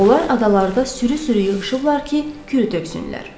Onlar adalarda sürü-sürü yığışıblar ki, kürü töksünlər.